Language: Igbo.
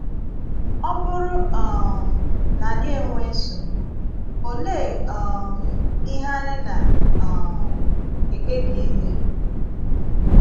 Ọ bụrụ um na anyị enwèé nsogbu, òlee um ihe anyị na - um ekpebì íme?